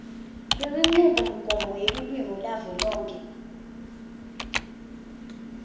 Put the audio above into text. lwenchubomgomo yelulwimi yavelonkhe